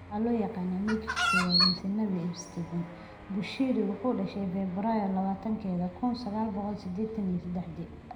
Waxaa loo yaqaan Majorka koowad mise Nabii Shepherd, Bushiri wuxuu dhashay Febraayo labatankeeda, kun sagaal boqol sideedtan iyo sedexdi.